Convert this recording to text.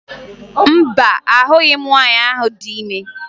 Mba, ahụghị m nwaanyị ahụ dị ime